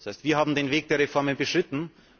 Das heißt, wir haben den Weg der Reformen beschritten.